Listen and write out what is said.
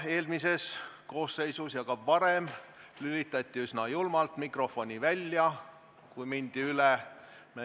Eelmises koosseisus ja ka varem lülitati üsna julmalt mikrofon välja, kui aega ületati.